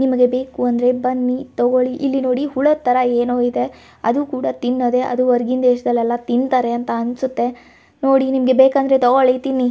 ನಿಮಗೆ ಬೇಕು ಅಂದ್ರೆ ಬನ್ನಿ ತೋಕೋಳಿ ಇಲ್ಲಿ ನೋಡಿ ಹುಳ ತರ ಏನೋ ಇದೆ ಅದು ಕೂಡ ತಿನ್ನದೆ ಅದು ಹೊರಗಿನ್ ದೇಶದಲ್ಲೆಲ್ಲಾ ತಿಂತರೆ ಅಂತ ಅನ್ನಸುತ್ತೆ ನೋಡಿ ನಿಮ್ಮಗೆ ಬೇಕಂದ್ರೆ ತೋಕೋಳಿ ತಿನ್ನಿ.